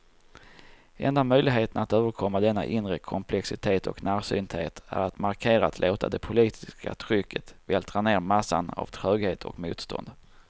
Enda möjligheten att överkomma denna inre komplexitet och närsynthet är att markerat låta det politiska trycket vältra ner massan av tröghet och motstånd.